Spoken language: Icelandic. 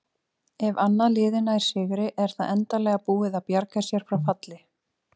Ef annað liðið nær sigri er það endanlega búið að bjarga sér frá falli.